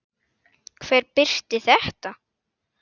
Hver birti þetta?